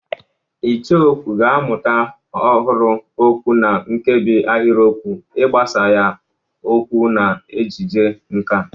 Icheokwú ga-amụta ọhụrụ okwu na nkebi ahịrịokwu, ịgbasa ya okwu na ejije nkà.